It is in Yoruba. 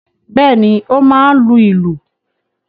Bẹ́ẹ̀ ni, ó máa ń lu ìlù.